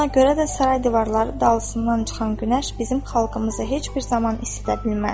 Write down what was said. Buna görə də saray divarları dalsından çıxan günəş bizim xalqımızı heç bir zaman isidə bilməz.